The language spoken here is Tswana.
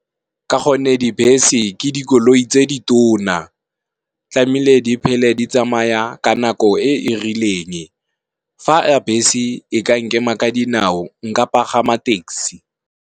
Ka gonne, dibese ke dikoloi tse di tona, tlameile di phele di tsamaya ka nako e e rileng fa bese e ka nkema ka dinao nka pagama taxi.